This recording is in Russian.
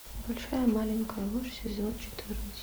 большая маленькая ложь сезон четырнадцать